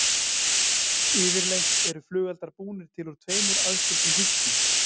Yfirleitt eru flugeldar búnir til úr tveimur aðskildum hylkjum.